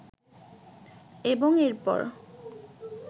এবং এরপর